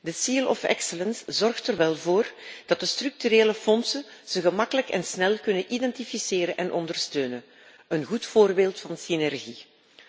De seal of excellence zorgt er wel voor dat de structuurfondsen ze gemakkelijk en snel kunnen identificeren en ondersteunen, een goed voorbeeld van synergie.